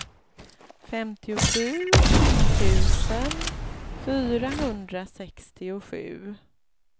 femtiosju tusen fyrahundrasextiosju